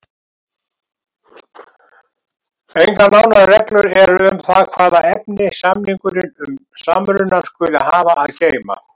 Engar nánari reglur eru um það hvaða efni samningurinn um samrunann skuli hafa að geyma.